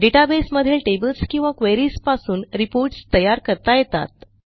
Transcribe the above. database मधील tables किंवा queries पासून रिपोर्ट्स तयार करता येतात